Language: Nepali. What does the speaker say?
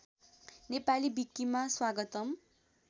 नेपाली विकिमा स्वागतम